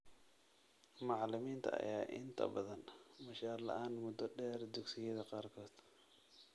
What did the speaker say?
Macallimiinta ayaa inta badan mushaar la'aan muddo dheer dugsiyada qaarkood.